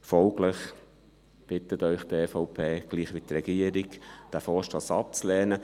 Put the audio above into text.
Folglich bittet Sie die EVP – gleich wie die Regierung – diesen Vorstoss abzulehnen.